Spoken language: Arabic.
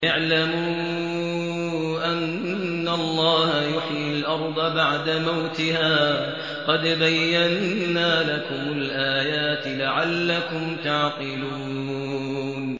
اعْلَمُوا أَنَّ اللَّهَ يُحْيِي الْأَرْضَ بَعْدَ مَوْتِهَا ۚ قَدْ بَيَّنَّا لَكُمُ الْآيَاتِ لَعَلَّكُمْ تَعْقِلُونَ